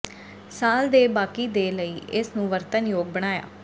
ਸਾਲ ਦੇ ਬਾਕੀ ਦੇ ਲਈ ਇਸ ਨੂੰ ਵਰਤਣ ਯੋਗ ਬਣਾਇਆ